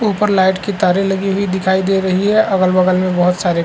ऊपर लाइट के तारे लगी हुई दिखाई दे रही है अगल-बगल में बहोत सारे --